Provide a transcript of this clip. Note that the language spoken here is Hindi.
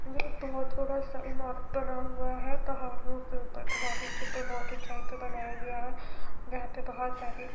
बहुत बड़ा सा इमारत बना हुआ है पहाड़ियों के ऊपर पहाड़ियों के ऊपर बहुत ऊंचाई पर बनाया गया है जहां पे बहुत सारी--